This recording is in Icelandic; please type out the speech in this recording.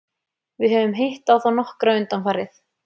Við höfum hitt á þá nokkra undanfarið.